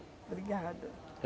Obrigada.